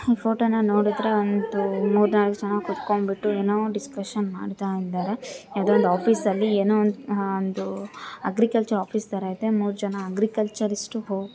ಈ ಫೋಟೋನ ನೋಡುದ್ರೆ ಒಂದು ಮೂರ್ ನಾಲ್ಕ್ ಜನ ಕುತ್ಕೊಂಡ್ಬಿಟ್ಟು ಏನೋ ಡಿಸ್ಕಶನ್ ಮಾಡ್ತಾ ಇದ್ದಾರೆ. ಯಾವ್ದೋ ಒಂದ್ ಆಫೀಸ್ ಅಲ್ಲಿ ಏನೊ ಒಂದ್ ಅಹ್ ಏನೊ ಒಂದ್ ಅಗ್ರಿಕಲ್ಚರ್ ಆಫೀಸ್ ತರ ಇದೆ. ಮೂರ್ ಜನ ಅಗ್ರಿಕಲ್ಚರಿಸ್ಟ್ --